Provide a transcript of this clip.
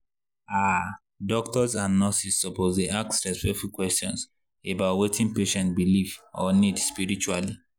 ah doctors and nurses suppose dey ask respectful questions about wetin patient believe or need spiritually.